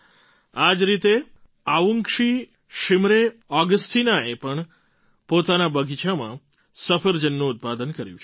આ જ રીતે અવુન્ગશી શિમરે ઑગસ્ટીના અવુંગશી શિમરે Augasteenaએ પણ પોતાના બગીચામાં સફરજનનું ઉત્પાદન કર્યું છે